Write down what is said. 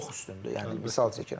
Çox üstündür, yəni misal çəkirəm.